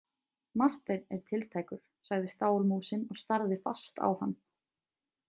Marteinn er tiltækur, sagði stálmúsin og starði fast á hann.